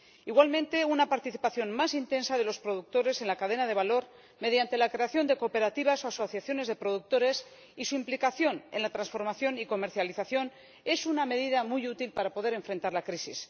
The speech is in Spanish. Igualmente, una participación más intensa de los productores en la cadena de valor mediante la creación de cooperativas o asociaciones de productores y su implicación en la transformación y comercialización es una medida muy útil para poder enfrentar la crisis.